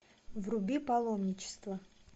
вруби паломничество